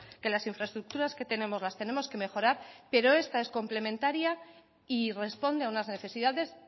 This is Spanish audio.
que las infraestructuras que tenemos las tenemos que mejorar pero esta es complementaria y responde a unas necesidades